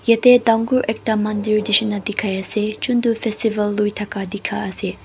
yati tangore ekta mandir neshina tekai ase chuntu festival luitaka tekai ase.